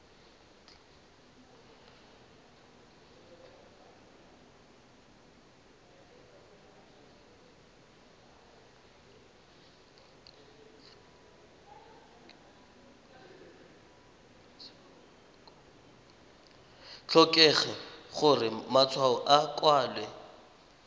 tlhokege gore matshwao a kwalwe